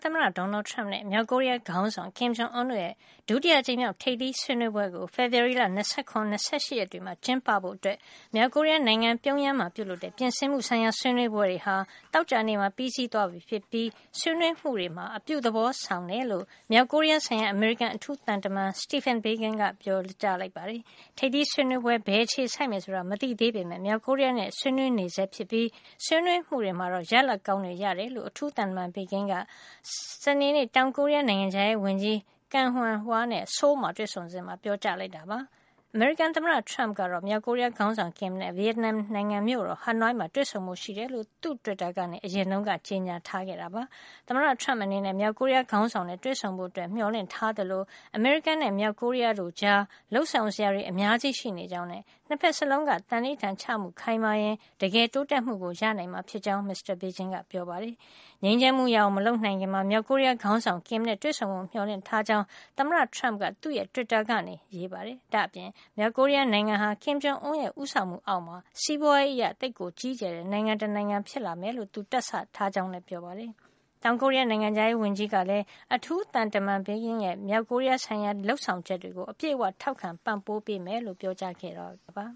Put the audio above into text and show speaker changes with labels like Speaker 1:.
Speaker 1: သမ္မတ Donald Trump နဲ့ မြောက်ကိုရီးယား ခေါင်းဆောင် Kim Jong Un တို့ရဲ့ ဒုတိယ အကြိမ် မြောက် ထိပ်သီးဆွေးနွေးပွဲကို ဖေဖေါ်ဝါရီလ ၂၇ နဲ့၂၈ ရက်တွေမှာ ကျင်းပဖို့ မြောက်ကိုရီးယားနိုင်ငံ ပြုံယမ်းမှာ ပြုလုပ်တဲ့ ပြင်ဆင်မှုဆိုင်ရာဆွေးနွေးပွဲတွေ ဟာ သောကြာနေ့မှာ ပြီးသွားပြီဖြစ်ပြီး ဆွေးနွေးမှုတွေမှာ အပြု သဘောဆောင်ကြောင်း မြောက်ကိုရီးယားဆိုင်ရာ အမေရိကန် အထူးသံတမန် Stephen Biegun က ပြောပါတယ်။ ထိပ်သီးဆွေးနွေးပွဲဟာ ဘယ်အခြေဆိုက်မယ်ဆိုတာ မသိသေးပေးမယ့် မြောက်ကိုရီးယား နဲ့ ဆွေးနွေးနေဆဲ ဖြစ်ပြီး ဆွေးနွေးမှုတွေမှာ ရလဒ်ကောင်းတွေ ရကြောင်း အထူးသံတမန် Biegun က စနေနေ့ တောင်ကိုရီးယား နိုင်ငံခြားရေးဝန်ကြီး Kang Hyung-wha နဲ့ ဆိုးလ် မှာ တွေ့ဆုံစဉ် ပြောကြားလိုက်တာပါ။ အမေရိကန် သမ္မတ Trump က မြောက်ကိုရီးယားခေါင်းဆောင် Kim နဲ့ ဗီယက်နမ် နိုင်ငံမြို့တော် ဟနွိုင်းမှာ တွေ့ဆုံဖို့ရှိကြောင်း သူ့တွစ်တာကနေ အရင်က ကြေညာခဲ့တာ ဖြစ်ပါတယ်။ သမ္မတ Trump အနေနဲ့ မြောက်ကိုရီးယားခေါင်းဆောင်နဲ့ တွေ့ဆုံဖို့ မျှော်လင့်ထားသလို အမေရိကန်နဲ့ မြောက်ကိုရီးယားတို့ကြား လုပ်ဆောင်စရာတွေ အများကြီးရှိနေကြောင်းနဲ့ ၂ ဖက်စလုံးက သံန္နိဌာန်ချမှု ခိုင်မာရင် တကယ်တိုးတက်မှုရနိုင်မှာ ဖြစ်ကြောင်းလည်း မစ္စတာ Biegun ကပြောပါတယ်။ ငြိမ်းချမ်းမှုရအောင် မလုပ်နိုင်ခင် မြောက်ကိုရီးယား ခေါင်းဆောင် Kim နဲ့ တွေ့ဆုံဖို့ မျှော်လင့်ကြောင်း သမ္မတ Trump က သူ့တွစ်တာကနေ ရေးပါတယ်။ ဒါ့အပြင် မြောက် ကိုရီးယား နိုင်ငံဟာ Kim Jong Un ရဲ့ ဦးဆောင်မှု အောက်မှု စီးပွါးရေးအရ ကြီးကျယ်တဲ့ နိုင်ငံတနိုင်ငံ ဖြစ်လာ မယ်လို့ သူတွက်ဆ ထားကြောင်းလည်း ပြောပါတယ်။ တောင်ကိုရီးယား နိုင်ငံခြားရေးဝန်ကြီးကလည်း အထူးသံတမန် Biegun ရဲ့ မြောက်ကိုရီးယားဆိုင်ရာ လုပ်ဆောင်ချက်တွေကို အပြည့်အဝ ထောက်ခံပံ့ပိုးမှာ ဖြစ်ကြောင်း ပြောကြားခဲ့ပါ